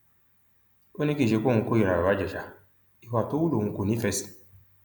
ó ní kì í ṣe pé òun kórìíra baba ìjèṣà ìwà tó hù lòun kò nífẹẹ sí